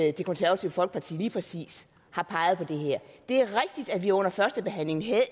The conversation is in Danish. at det konservative folkeparti lige præcis har peget på det her det er rigtigt at vi under førstebehandlingen havde